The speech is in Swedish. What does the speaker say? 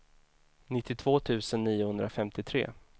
nittiotvå tusen niohundrafemtiotre